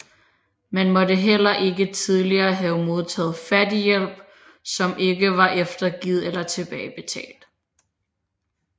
Man måtte heller ikke tidligere have modtaget fattighjælp som ikke var eftergivet eller tilbagebetalt